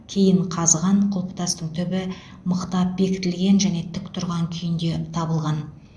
кейін қазған құлпытастың түбі мықтап бекітілген және тік тұрған күйінде табылған